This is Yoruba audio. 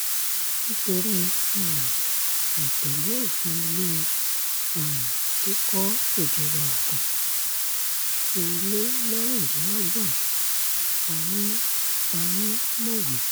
nítorí um àì tẹ̀lé òfin ilé um kíkọ́ ìjọba ogun ti ilé mẹ́rìndínlọ́gbọ̀n pa ni pa ni mọ̀wé